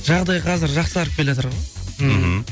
жағдай қазір жақсарып келатыр ғой мхм